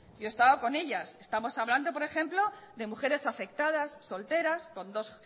yo he estado con ellas estamos hablando por ejemplo de mujeres afectadas solteras con dos